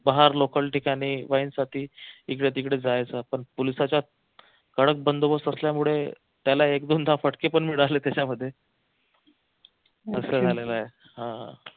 बाहेर local ठिकाणी wine साठी इकडे तिकडे जायचा पण पोलिसांचा कडक बंदोबस्त असल्यामुळे त्याला एक दोनदा फटके पण मिळाले त्याच्यामध्ये असं झालेलं आहे हा